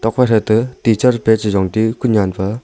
phai tham ka teacher pa a chi jong te u kunen pa--